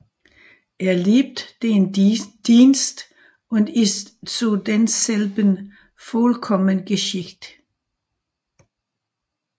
Er liebet den Dienst und ist zu denselben vollkommen geschickt